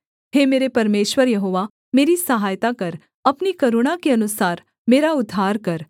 हे मेरे परमेश्वर यहोवा मेरी सहायता कर अपनी करुणा के अनुसार मेरा उद्धार कर